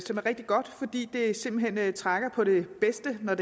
som er rigtig godt fordi det simpelt hen trækker på det bedste når